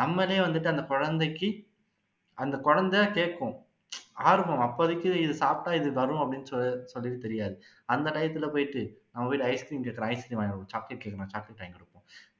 நம்மளே வந்துட்டு அந்த குழந்தைக்கு அந்த குழந்தை கேக்கும் ஆர்வம் அப்போதைக்கு இது சாப்பிட்டா இது வரும்னு சொல தெரியாது அந்த time ல போயிட்டு ice cream கேக்குறான் ice cream வாங்கி கொடு chocolate கேக்குறான் chocolate வாங்கி கொடு